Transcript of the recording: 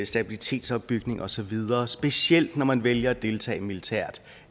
stabilitetsopbygning og så videre specielt når man vælger at deltage militært